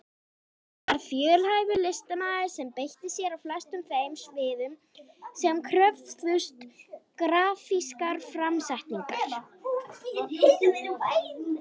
Hann var fjölhæfur listamaður sem beitti sér á flestum þeim sviðum sem kröfðust grafískrar framsetningar.